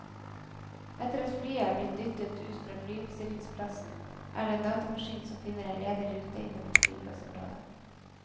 Etter at flyet er blitt dyttet ut fra flyoppstillingsplassen, er det en datamaskin som finner en ledig rute inne på flyplassområet.